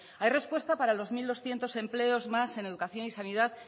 hay respuesta para los mil doscientos empleos más en educación y sanidad